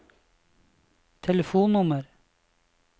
telefonnummer